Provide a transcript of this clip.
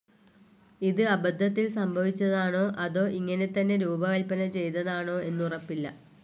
ഇത് അബദ്ധത്തിൽ സംഭവിച്ചതാണോ അതോ ഇങ്ങനെത്തന്നെ രൂപകൽപന ചെയ്തതാണൊഎന്നുറപ്പില്ല.